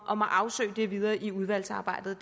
om at afsøge det videre i udvalgsarbejdet